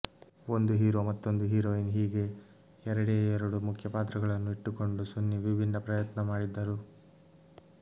ಒಂದು ಹೀರೋ ಮತ್ತೊಂದು ಹೀರೋಯಿನ್ ಹೀಗೆ ಎರಡೇ ಎರಡು ಮುಖ್ಯಪಾತ್ರಗಳನ್ನು ಇಟ್ಟುಕೊಂಡು ಸುನಿ ಭಿನ್ನ ಪ್ರಯತ್ನ ಮಾಡಿದ್ದರು